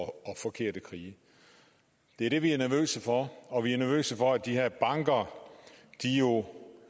forkerte krige det er det vi er nervøse for og vi er nervøse for at de her banker